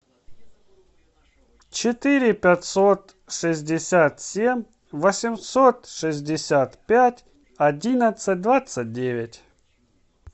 четыре пятьсот шестьдесят семь восемьсот шестьдесят пять одиннадцать двадцать девять